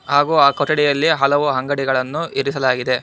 ಹಾಗೂ ಆ ಕೊಠಡಿಯಲ್ಲಿ ಹಲವು ಅಂಗಡಿಗಳನ್ನು ಇರಿಸಲಾಗಿದೆ.